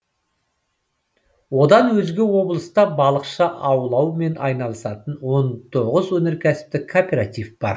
одан өзге облыста балықшы аулаумен айналысатын он тоғыз өндірістік кооператив бар